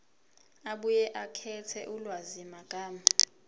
abuye akhethe ulwazimagama